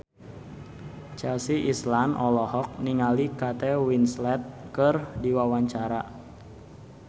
Chelsea Islan olohok ningali Kate Winslet keur diwawancara